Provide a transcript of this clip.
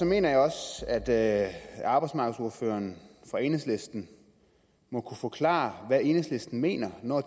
mener jeg også at arbejdsmarkedsordføreren fra enhedslisten må kunne forklare hvad enhedslisten mener når